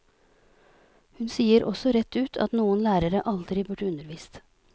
Hun sier også rett ut at noen lærere aldri burde undervist.